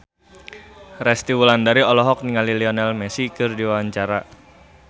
Resty Wulandari olohok ningali Lionel Messi keur diwawancara